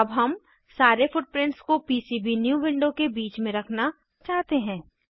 अब हम सारे फुटप्रिंट्स को पीसीबीन्यू विंडो के बीच में रखना चाहते हैं